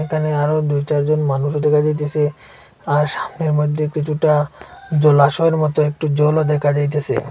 একানে আরো দুই চারজন মানুষ দেখা যাইতাসে আর সামনের মইদ্যে কিছুটা জলাশয়ের মতো একটু জলও দেকা যাইতেসে।